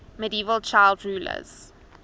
medieval child rulers